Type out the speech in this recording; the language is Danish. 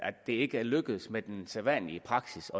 at det ikke er lykkedes med den sædvanlige praksis